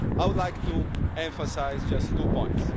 I would like to emphasise just two points.